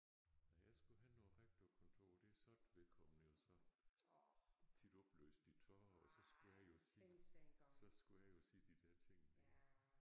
Nej jeg skulle hen på æ rektorkontor der sad vedkommende jo så tit opløst i tårer og så skulle jeg jo sige så skulle jeg jo sige de der ting der